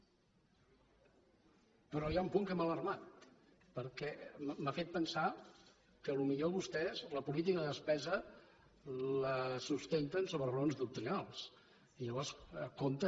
però hi ha un punt que m’ha alarmat perquè m’ha fet pensar que potser vostès la política de despesa la sustenten sobre raons doctrinals i llavors compte